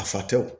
A fa tɛw